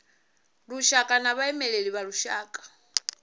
lushaka na vhaimeleli vha lushaka